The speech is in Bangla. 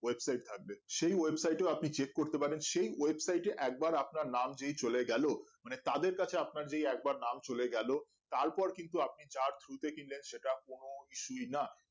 webside থাকবে সেই website এও আপনি চেক করতে পারেন সেই website এ একবার আপনার নাম যদি চলে গেলো মানে তাদের কাছে আপনার যে নাম চলে গেলো তারপর কিন্তু আপনি যার through তে কিনলেন সেটার কোনো না